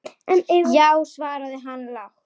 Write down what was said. Já, svaraði hann lágt.